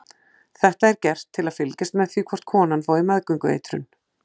Þetta er gert til að fylgjast með því hvort konan fái meðgöngueitrun.